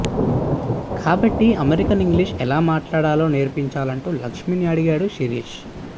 కాబట్టి American English ఎలా మాట్లాడాలో నేర్పాలంటూ లక్ష్మిని అడిగాడు శిరీష్